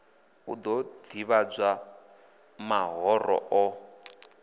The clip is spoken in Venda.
u ḓo ḓivhadza mahoro o